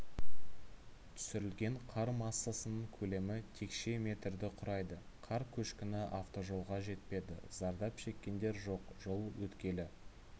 түсірілген қар массасының көлемі текше метрді құрайды қар көшкіні автожолға жетпеді зардап шеккендер жоқ жол өткелі